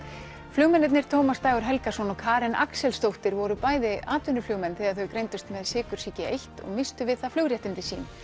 flugmennirnir Tómas Dagur Helgason og Karen Axelsdóttir voru bæði atvinnuflugmenn þegar þau greindust með sykursýki eins og misstu við það flugréttindi sín